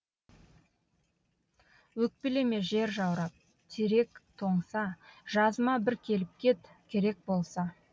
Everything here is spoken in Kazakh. өкпелеме жер жаурап терек тоңса жазыма бір келіп кет керек болса